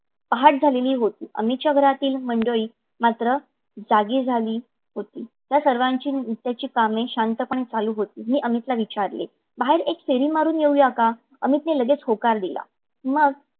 मग पहाट झालेली होती. अमितच्या घरातील मंडळी मात्र जागी झालेली होती. त्या सर्वाची नित्याची कामे चालू होती. मी अमितला विचारले बाहेर एक फेरी मारून येऊ या का? अमितने लगेच होकार दिला.